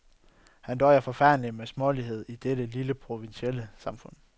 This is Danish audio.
Han døjede forfærdeligt med småligheden i dette lille provinsielle samfund.